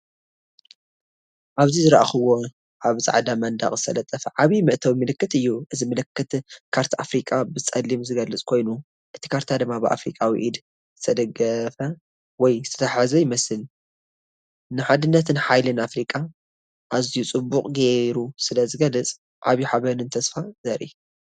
ኣብዚ ዝረኣኹዎ ኣብ ጻዕዳ መንደቕ ዝተለጠፈ ዓቢ መእተዊ ምልክት እዩ። እዚ ምልክት ካርታ ኣፍሪቃ ብጸሊም ዝገልጽ ኮይኑ፡እቲ ካርታ ድማ ብኣፍሪቃዊ ኢድ ዝተደገፈ ወይ ዝተታሕዘ ይመስል። ንሓድነትን ሓይልን ኣፍሪቃ ኣዝዩ ጽቡቕ ጌሩ ስለ ዝገልጽ ዓቢ ሓበንን ተስፋን ዘርኢ።